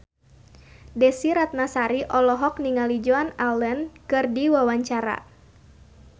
Desy Ratnasari olohok ningali Joan Allen keur diwawancara